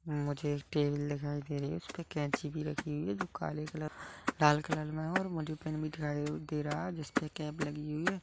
मुझे एक टेबल दिखाई दे रही है जिस पे कैची भी रखी हुई है जो काले कलर और लाल कलर में है और मुझे पेन भी दिखाई दे रही है जिस पे कैप लगी हुई है।